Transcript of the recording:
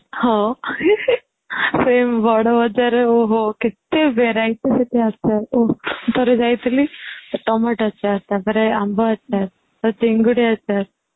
ହଁ same ବଡ଼ବଜ଼ାର ରେ ଓହୋ କେତେ verity ସେଠି ଆଚାର ଓଃ | ଥରେ ଯାଇଥିଲି ଟମାଟୋ ଆଚାର ,ତାପରେ ଆମ୍ବ ଆଚାର, ଥରେ ଚିଙ୍ଗୁଡ଼ି ଆଚର,